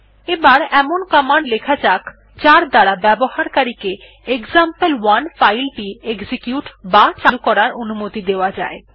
এবার এমন কমান্ড লেখা যাক যার দ্বারা ব্যবহারকারী কে এক্সাম্পল1 ফাইল টি এক্সিকিউট বা চালু করার অনুমতি দেওয়া জায়